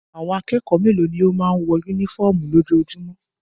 Àwọn kẹ́kọ̀ọ́ mélòó ni ó máa ń wọ únífọ́ọ́mù lójoojúmọ́?